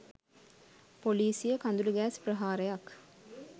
පොලිසිය කඳුළු ගෑස් ප්‍රහාරයක්